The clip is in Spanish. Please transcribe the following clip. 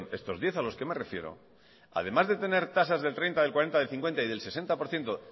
estos diez a los que me refiero además de tener tasas del treinta del cuarenta del cincuenta y del sesenta por ciento